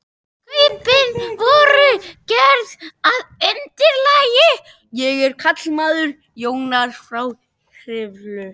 Kaupin voru gerð að undirlagi Jónasar frá Hriflu.